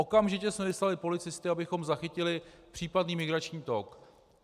Okamžitě jsme vyslali policisty, abychom zachytili případný migrační tok.